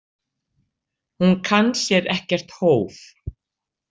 Hún kann sér ekkert hóf.